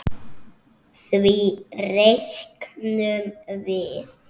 Því reiknum við